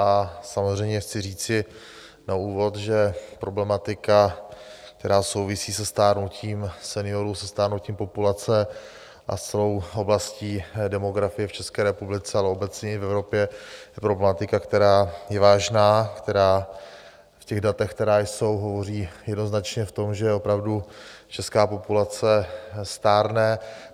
A samozřejmě chci říci na úvod, že problematika, která souvisí se stárnutím seniorů, se stárnutím populace a celou oblastí demografie v České republice, ale obecně i v Evropě, problematika, která je vážná, která v těch datech, která jsou, hovoří jednoznačně o tom, že opravdu česká populace stárne.